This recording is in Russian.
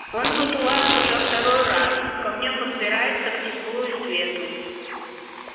он тут у вас уже второй раз к огню подбирается к теплу и свету